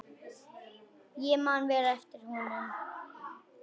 Ég man vel eftir honum.